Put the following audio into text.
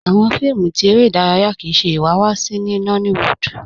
Awọn fíìmù tí èrè idaraya kíí ṣẹ iwáwáṣí ní Nollywood